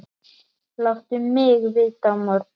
Láttu mig vita á morgun.